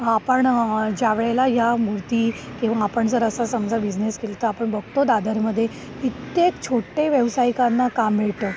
आपण ज्यावेळेला या मूर्ती किंवा आपण जर असा समजा असा बिझनेस केला तर आपण बघतो दादर मध्ये कित्येक छोट्या व्यावसायिकाना काम मिळतं